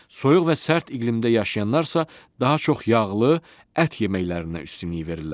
Soyuq və sərt iqlimdə yaşayanlar isə daha çox yağlı, ət yeməklərinə üstünlük verirlər.